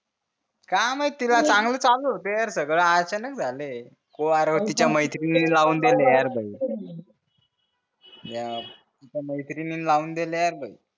काय माहित तिला चांगलं चालू होत यार सगळं अचानक झालं हे तिचा मैत्रिणीने लावून दिले भाई यार तिचा मैत्रिणीने लावून दिले भाई